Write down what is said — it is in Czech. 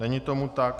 Není tomu tak.